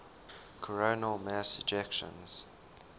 coronal mass ejections